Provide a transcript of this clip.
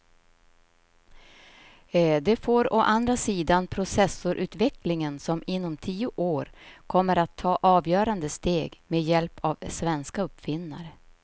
Det får å andra sidan processorutvecklingen som inom tio år kommer att ta avgörande steg med hjälp av svenska uppfinnare.